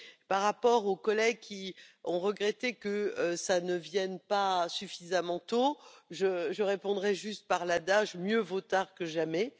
Par rapport aux collègues qui ont regretté que cela ne vienne pas suffisamment tôt, je répondrai juste par l'adage mieux vaut tard que jamais.